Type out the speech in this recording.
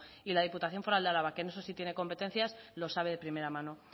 y la diputación foral de álava que en eso sí tiene competencias lo sabe de primera mano